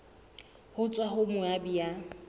ho tswa ho moabi ya